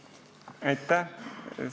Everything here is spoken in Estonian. Aitäh!